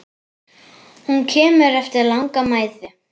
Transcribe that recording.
Hún kemur eftir langa mæðu.